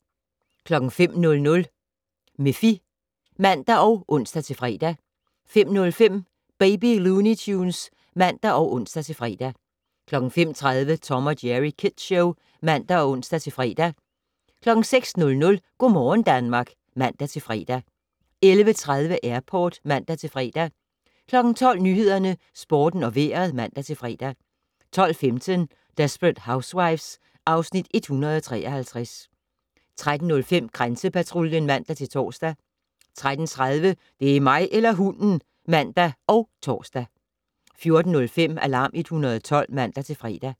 05:00: Miffy (man og ons-fre) 05:05: Baby Looney Tunes (man og ons-fre) 05:30: Tom & Jerry Kids Show (man og ons-fre) 06:00: Go' morgen Danmark (man-fre) 11:30: Airport (man-fre) 12:00: Nyhederne, Sporten og Vejret (man-fre) 12:15: Desperate Housewives (Afs. 153) 13:05: Grænsepatruljen (man-tor) 13:30: Det er mig eller hunden! (man og tor) 14:05: Alarm 112 (man-fre)